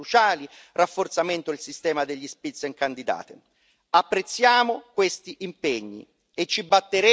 Apprezziamo questi impegni e ci batteremo con determinazione per la loro piena attuazione.